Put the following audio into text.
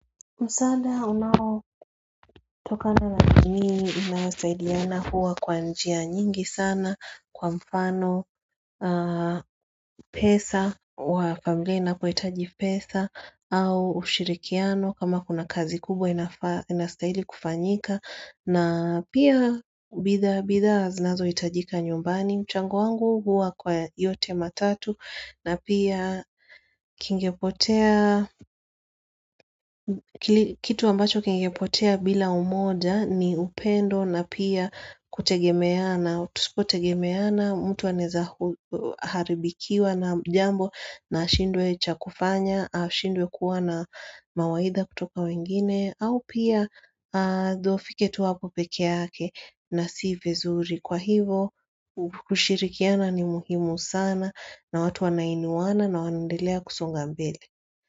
Musada unawo toka na rajini inasaidiana huwa kwa njia nyingi sana kwa mfano pesa wa familia inapo itaji pesa au ushirikiano kama kuna kazi kubwa inasaidi kufanyika na pia bitha bitha zinazo itajika nyumbani mchangu wangu huwa kwa yote matatu na pia kingepotea kitu ambacho kingepotea bila umoja ni upendo na pia kutegemeana kutegemeana mtu waneza haribikiwa na jambo na shindwe chakufanya au shindwe kuwa na mawaidha kutoka wengine au pia dofike tuwapo pekeake na si vizuri. Kwa hivo, kushirikiana ni muhimu sana na watu wanainuwana na wanandelea kusunga mbele.